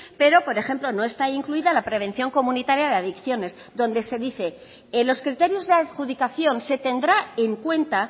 pero por ejemplo no está incluida la prevención comunitaria de adicciones donde se dice en los criterios de adjudicación se tendrá en cuenta